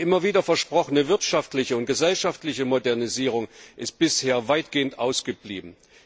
Die immer wieder versprochene wirtschaftliche und gesellschaftliche Modernisierung ist bisher weitgehend ausgeblieben.